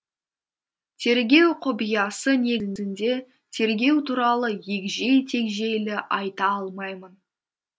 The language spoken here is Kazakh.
тергеу құпиясы негізінде тергеу туралы егжей тегжейлі айта алмаймын